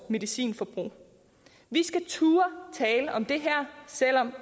medicinforbruget vi skal turde tale om det her selv om